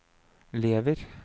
lever